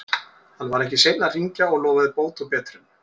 Hann var ekki seinn að hringja og lofaði bót og betrun.